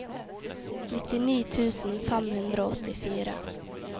nittini tusen fem hundre og åttifire